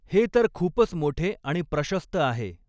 हे तर खूपच मोठे आणि प्रशस्त आहे.